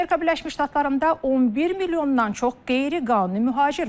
Amerika Birləşmiş Ştatlarında 11 milyondan çox qeyri-qanuni mühacir var.